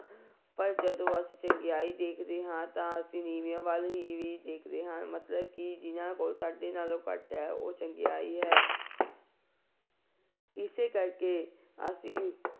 ਪਰ ਜਦੋਂ ਅਸੀਂ ਚੰਗਿਆਈ ਦੇਖਦੇ ਹਾਂ ਤਾਂ ਅਸੀਂ ਨੀਵਿਆਂ ਵੱਲ ਨੀਵੇਂ ਦੇਖਦੇ ਹਾਂ ਮਤਲਬ ਕਿ ਜਿਹਨਾਂ ਕੋਲ ਸਾਡੇ ਨਾਲੋਂ ਘੱਟ ਹੈ ਉਹ ਚੰਗਿਆਈ ਹੈ ਇਸੇ ਕਰਕੇ ਅਸੀਂ